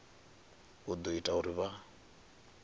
u ḓo ita uri vha